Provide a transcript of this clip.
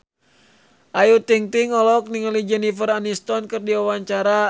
Ayu Ting-ting olohok ningali Jennifer Aniston keur diwawancara